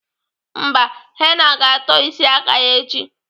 Mba, Henna ga-atọ isi aka ya echi.